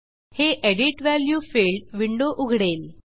हे edit value field window उघडेल